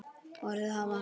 Orðin hafa öfug áhrif.